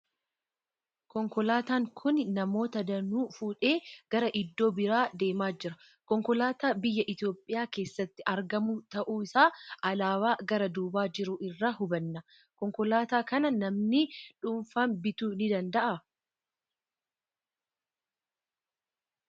Konkolaataan kun namoota danuu fuudhee gara iddoo biraa deemaa jira. Konkolaataa biyya Itoophiyaa keessatti argamu ta'uu isaa alaabaa gara duubaa jiru irraa hubanna. Konkolaataa kana namni dhuunfaan bituu ni danda'aa?